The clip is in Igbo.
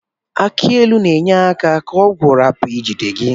Aki ilu n'enye aka ka ọgwu rapu ijide gi.